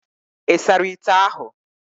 Ị sara ite ahụ?